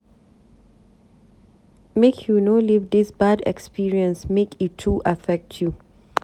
Make you no leave dis bad experience make e too affect you.